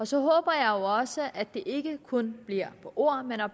så håber jeg jo også at det ikke kun bliver ord men at